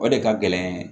O de ka gɛlɛn